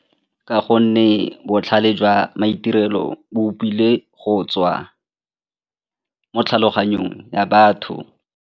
Ka gonne botlhale jwa maitirelo bopile go tswa mo tlhaloganyong ya batho.